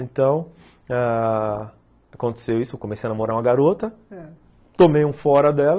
Então, aconteceu isso, comecei a namorar uma garota, tomei um fora dela,